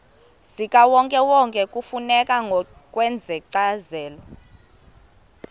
zikawonkewonke kufuneka ngokwencazelo